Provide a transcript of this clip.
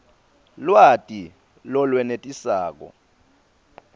lwati lolwenetisako